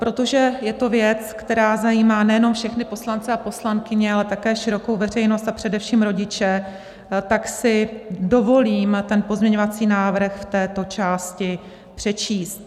Protože je to věc, která zajímá nejenom všechny poslance a poslankyně, ale také širokou veřejnost a především rodiče, tak si dovolím ten pozměňovací návrh v této části přečíst.